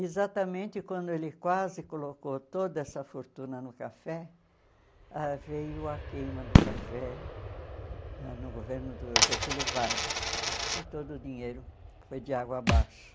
Exatamente quando ele quase colocou toda essa fortuna no café, ãh veio a queima do café ãh no governo do Getúlio Vargas e todo o dinheiro foi de água abaixo.